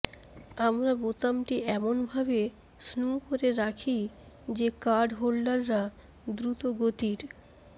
আমরা বোতামটি এমনভাবে স্নু করে রাখি যে কার্ডহোল্ডাররা দ্রুতগতির